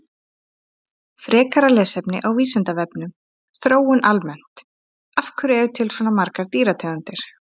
Frekara lesefni á Vísindavefnum Þróun almennt Af hverju eru til svona margar dýrategundir?